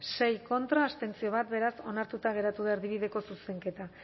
sei contra bat abstentzio beraz onartuta geratu da erdibideko zuzenketa